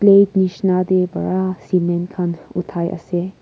plate nishina te para cement khan uthai ase.